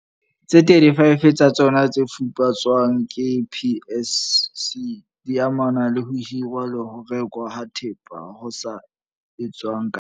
Tse 35 tsa tsona tse fuputswang ke PSC di amana le ho hirwa le ho rekwa ha thepa ho sa etswang ka nepo